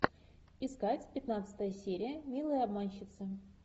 искать пятнадцатая серия милые обманщицы